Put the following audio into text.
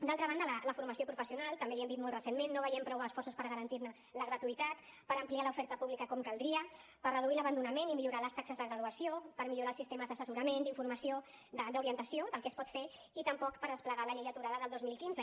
d’altra banda a la formació professional també li hem dit molt recentment no veiem prou esforços per garantir ne la gratuïtat per ampliar l’oferta pública com caldria per reduir l’abandonament i millorar les taxes de graduació per millorar els sistemes d’assessorament d’informació d’orientació del que es pot fer i tampoc per desplegar la llei aturada del dos mil quinze